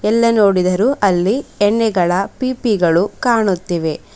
ಎಲ್ಲೇ ನೋಡಿದರೂ ಅಲ್ಲಿ ಎಣ್ಣೆಗಳ ಪೀಪಿಗಳು ಕಾಣುತ್ತಿವೆ.